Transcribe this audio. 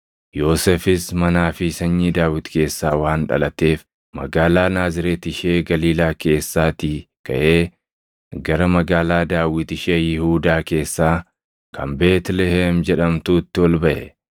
Yoosefis manaa fi sanyii Daawit keessaa waan dhalateef magaalaa Naazreeti ishee Galiilaa keessaatii kaʼee gara magaalaa Daawit ishee Yihuudaa keessaa kan Beetlihem jedhamtuutti ol baʼe.